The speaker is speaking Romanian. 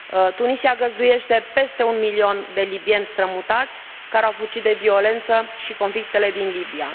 Tunisia găzduiește peste un milion de libieni strămutați, care au fugit de violența și de conflictele din Libia.